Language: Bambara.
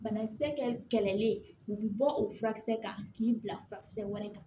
Banakisɛ kɛlɛlen u bɛ bɔ o furakisɛ kan k'i bila furakisɛ wɛrɛ kan